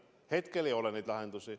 Hetkel ei ole neid lahendusi.